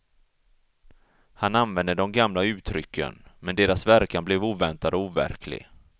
Han använde de gamla uttrycken, men deras verkan blev oväntad och overklig.